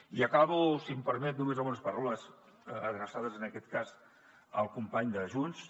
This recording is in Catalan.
i acabo si em permet només amb unes paraules adreçades en aquest cas al company de junts